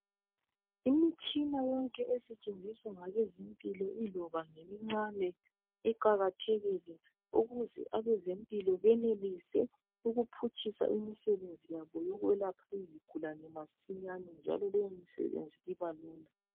Imtshina yonke esetshenziswa ngabezempilo iloba ngemincane iqakathekile ukuze abezempilo benelise ukuphutshisa imisebenzi yabo yokwelapha izigulane masinyane njalo leyo misebenzi iba lula